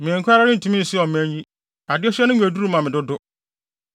Me nko ara rentumi nsoa ɔman yi! Adesoa no mu yɛ duru ma me dodo!